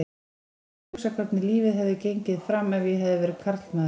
Ég hef oft hugsað hvernig lífið hefði gengið fram ef ég hefði verið karlmaður.